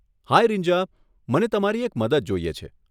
હાય રીન્જા, મને તમારી એક મદદ જોઈએ છે.